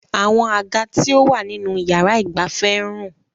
Àwọn àga tí ó wà nínú yàrá ìgbafẹ́ ń rùn.